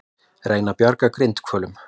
Reyna að bjarga grindhvölum